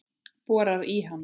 Borar í hana.